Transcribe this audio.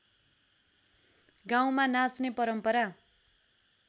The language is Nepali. गाउँमा नाच्ने परम्परा